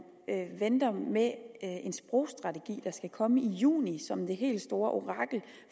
venter med en sprogstrategi der skal komme i juni som det helt store orakel